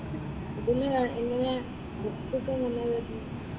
ഇതിന് എങ്ങനെയാ ബുക്‌സൊക്കെ എങ്ങനെയാ വരുന്നത്?